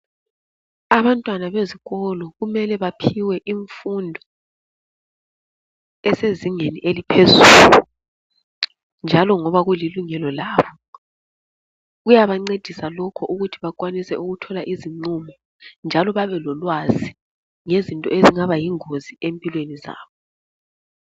Abantwana bezikolo kumele baphiwe imfundo esezingeni eliphezulu njalo ngoba kulilungelo labo. Kuyabancedisa lokho ukuthi bakwanise ukuthola izinqumo njalo babelolwazi ngezinto ezingaba yingozi empilweni zabo.